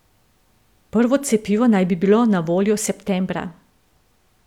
Prvo cepivo naj bilo na voljo septembra.